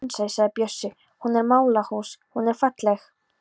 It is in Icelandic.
Verum raunsæ, sagði Bjössi, hún er mállaus, hún er falleg.